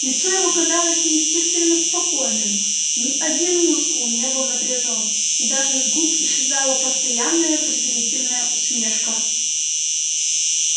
лицо его казалось неестественно спокойным ни один мускул не был напряжён и даже с губ исчезла постоянная презрительная усмешка